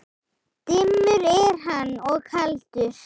Dimmur er hann og kaldur.